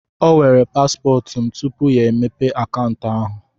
O weere paspọtụ m tupu ya emepe akaụntụ ahụ.